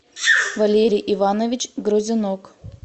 валерий иванович грузинок